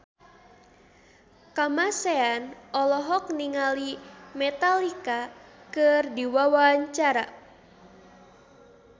Kamasean olohok ningali Metallica keur diwawancara